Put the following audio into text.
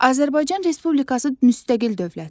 Azərbaycan Respublikası müstəqil dövlətdir.